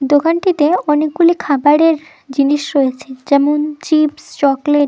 দোকানটিতে অনেকগুলি খাবারের জিনিস রয়েছে যেমন চিপস চকলেট --